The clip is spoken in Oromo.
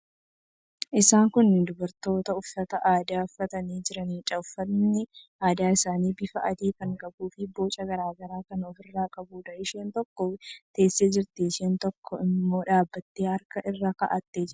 Isaan kun dubartoota uffata aadaa uffatanii jiraniidha. Uffatni aadaa isaanii bifa adii kan qabuufi boca garaa garaa kan ofirraa qabuudha. Isheen tokko teessee jirti. Isheen tokko immoo dhaabbattee harka irra kaa'attee jirti.